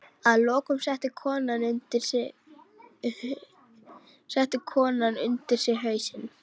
Að lokum setti konan undir sig hausinn.